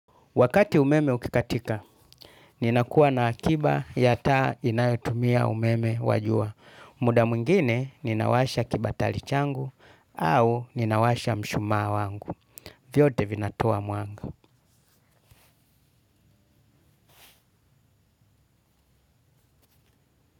Wakati umeme ukikatika, ninakuwa na akiba ya taa inayotumia umeme wa jua. Muda mwngine, ninawasha kibatali changu au ninawasha mshumaa wangu. Vyote vinatoa mwanga.